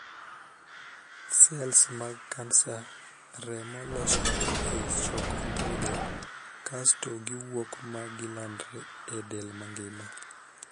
Sels mag kansa remo losore ei chok ondhudho kasto giwuok ma gilandre e del mangima.